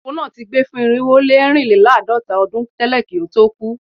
Àpótí kan ní irinwo ó lé àádọ́ta lẹ́tà nínú rẹ̀